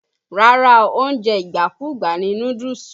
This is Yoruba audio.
Rárá o, oúnjẹ ìgbàkúgbà ni núdúùsù.